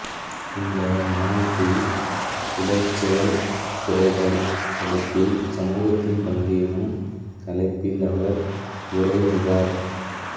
இந்த மாநாட்டில் உடற்செயல் குறைதல் தடுப்பில் சமூகத்தின் பங்கு எனும் தலைப்பில் அவர் உரை நிகார்